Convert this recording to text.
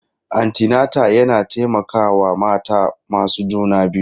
Antinata yana taimakawa mata masu juna biyu.